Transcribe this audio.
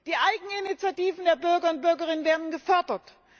Die Eigeninitiativen der Bürger und Bürgerinnen werden gefördert.